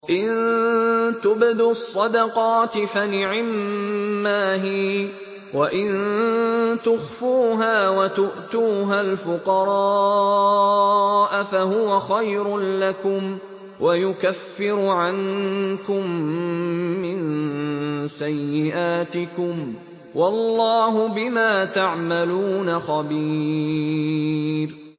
إِن تُبْدُوا الصَّدَقَاتِ فَنِعِمَّا هِيَ ۖ وَإِن تُخْفُوهَا وَتُؤْتُوهَا الْفُقَرَاءَ فَهُوَ خَيْرٌ لَّكُمْ ۚ وَيُكَفِّرُ عَنكُم مِّن سَيِّئَاتِكُمْ ۗ وَاللَّهُ بِمَا تَعْمَلُونَ خَبِيرٌ